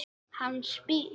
Hann spyr.